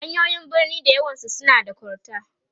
hanyoyin birni da yawan su na da kol ta